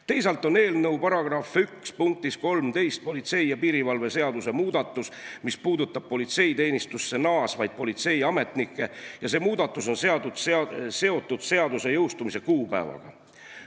Teisalt on eelnõu § 1 punktis 13 politsei ja piirivalve seaduse muudatus, mis puudutab politseiteenistusse naasvaid politseiametnikke ja see muudatus on seotud seaduse jõustumise kuupäevaga.